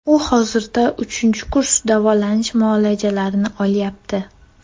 U hozirda uchinchi kurs davolanish muolajalarini olyapti.